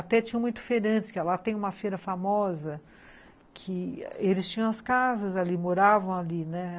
Até tinham muito feirante, que lá tem uma feira famosa, que eles tinham as casas ali, moravam ali, né?